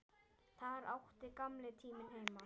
Þar átti gamli tíminn heima.